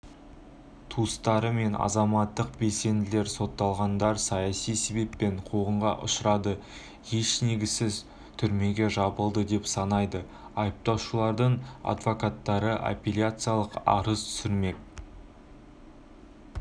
туыстары мен азаматтық белсенділер сотталғандар саяси себеппен қуғынға ұшырады еш негізсіз түрмеге жабылды деп санайды айыпталушылардың адвокаттары апелляциялық арыз түсірмек